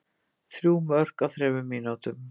Þrjú mörk á þremur mínútum.